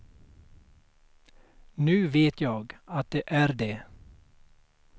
Nu vet jag att det är det.